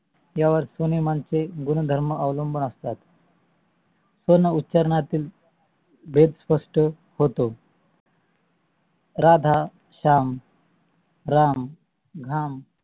या वर स्वनेमांचे गुणधर्म अवलंबून असतात. स्वन उचार्नातू भेद स्पष्ट होतो राधा, श्याम, राम, घाम